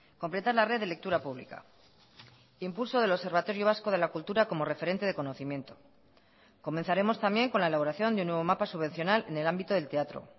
completar la red de lectura pública impulso del observatorio vasco de la cultura como referente de conocimiento comenzaremos también con la elaboración de un nuevo mapa subvencional en el ámbito del teatro